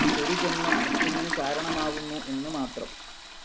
ഒരു ജന്മം മറ്റൊന്നിനു കാരണമാവുന്നു എന്ന് മാത്രം.